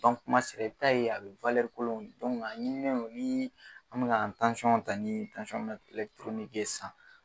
a kumasɛbɛta ye a bɛ don ɲininen don ni an bɛ na ta ni sisan.